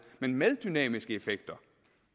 men med dynamiske effekter